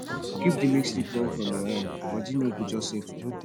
grief dey make sleep run from your eye body no go just settle